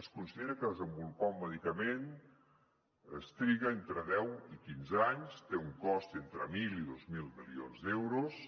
es considera que per desenvolupar un medicament es triga entre deu i quinze anys té un cost entre mil i dos mil milions d’euros